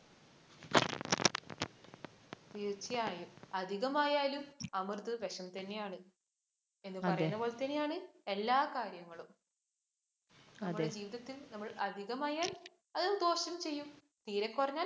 തീര്‍ച്ചയായും. അധികമായാലും അമൃത് വിഷംതന്നെയാണ്. എന്ന് പറയുന്നപോലെതന്നെയാണ് എല്ലാ കാര്യങ്ങളും. നമ്മുടെ ജീവിതത്തില്‍ അധികമായാല്‍ അത് ദോഷം ചെയ്യും. തീരെ കുറഞ്ഞാല്‍